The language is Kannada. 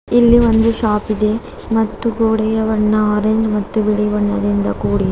ಇಲ್ಲಿ ಒಂದು ಶಾಪ್ ಇದೆ ಮತ್ತು ಗೋಡೆಯ ಬಣ್ಣ ಆರೆಂಜ್ ಮತ್ತು ಬಿಳಿ ಬಣ್ಣದಿಂದ ಕೂಡಿದೆ.